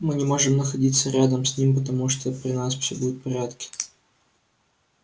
мы не можем находиться рядом с ним потому что при нас всё будет в порядке